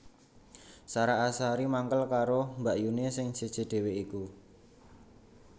Sarah Azhari mangkel karo mbakyune sing seje dhewe iku